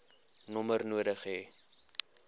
nommer nodig hê